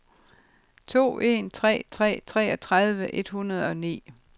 to en tre tre treogtredive et hundrede og ni